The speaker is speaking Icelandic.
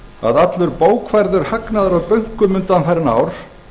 að allur bókfærður hagnaður af bönkum undanfarin ár